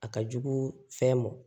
A ka jugu fɛn ma